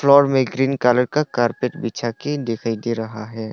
Floor में green colour का carpet बिछा के दिखाई दे रहा है।